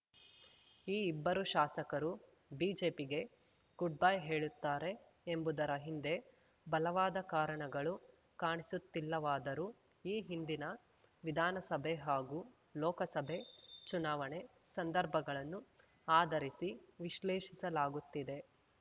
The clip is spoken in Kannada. ಈ ಇಬ್ಬರು ಶಾಸಕರು ಬಿಜೆಪಿಗೆ ಗುಡ್‌ ಬೈ ಹೇಳುತ್ತಾರೆ ಎಂಬುದರ ಹಿಂದೆ ಬಲವಾದ ಕಾರಣಗಳು ಕಾಣಿಸುತ್ತಿಲ್ಲವಾದರೂ ಈ ಹಿಂದಿನ ವಿಧಾನಸಭೆ ಹಾಗೂ ಲೋಕಸಭೆ ಚುನಾವಣೆ ಸಂದರ್ಭಗಳನ್ನು ಆಧರಿಸಿ ವಿಶ್ಲೇಷಿಸಲಾಗುತ್ತಿದೆ